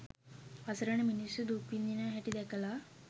අසරණ මිනිස්සු දුක් විඳින හැටි දැකල